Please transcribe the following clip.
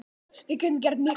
Við getum gert miklu betur!